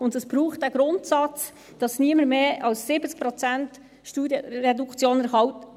Und es braucht einen Grundsatz, damit niemand mehr als 70 Prozent Steuerreduktion erhält.